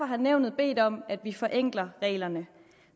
har nævnet bedt om at vi forenkler reglerne